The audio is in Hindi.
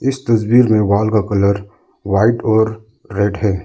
इस तस्वीर में वॉल का कलर व्हाइट और रेड है।